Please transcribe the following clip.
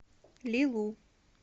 ли лу